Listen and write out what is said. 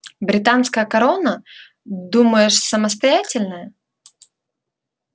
британская корона думаешь самостоятельная